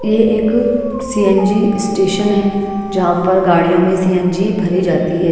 ये एक C N G station है जहा पर गाडियों में सी एन जी भरी जाती है।